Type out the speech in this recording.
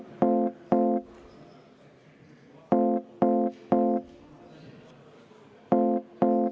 Selge, kümneminutiline vaheaeg.